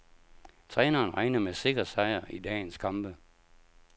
Træneren regner med sikker sejr i dagens kamp.